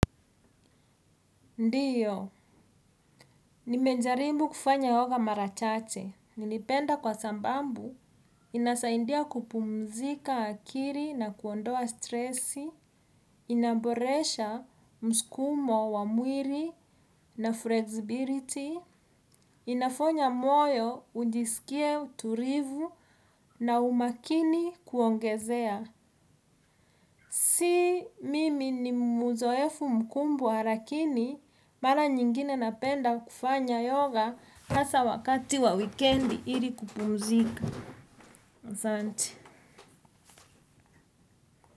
Ndiyo. Nimejaribu kufanya yoga mara chache. Nilipenda kwa sababu. Inasaidia kupumzisha akili na kuondoa stresi inaboresha mskumo wa mwili na flexibility. Inafanya moyo ujiskie utulivu na umakini kuongezea. Si mimi ni mzoefu mkubwa lakini mara nyingine napenda kufanya yoga hasa wakati wa wikendi ili kupumzika. Asante.